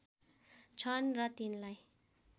छन् र तिनलाई